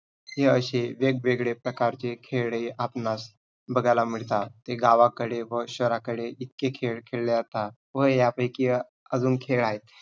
हे असे वेग-वेगळे प्रकारचे खेळ हे आपणास बघायला मिळतात. हे गावाकडे व शहराकडे इतके खेळ खेळले जातात व ह्या पैकी अं अजून खेळ आहेत.